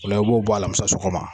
O la i b'o bɔ alamisa sɔgɔma